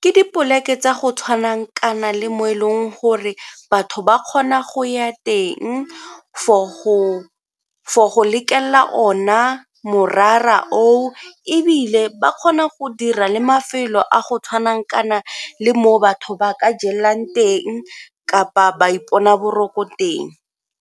Ke dipoleke tsa go tshwana kana le mo e leng gore batho ba kgona go ya teng for go lekelela ona morara oo ebile ba kgona go dira le mafelo a go tshwanang kana le mo batho ba ka jelang teng kapa ba ipona boroko teng.